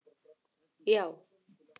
já.